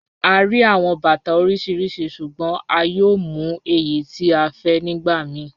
À ríí awọn bàtà oríṣiríṣí ṣùgbọ̀n à yóò mú èyí tí à fẹ́ nígbà míì.